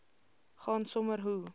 gaan sommer hoe